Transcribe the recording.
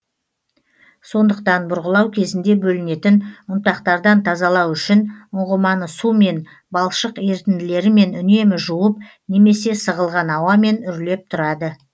сондықтан бұрғылау кезінде бөлінетін ұнтақтардан тазалау үшін ұңғыманы сумен балшық ерітінділерімен үнемі жуып немесе сығылған ауамен үрлеп тұрады